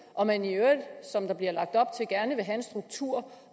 og man i øvrigt som der bliver lagt op til gerne vil have en struktur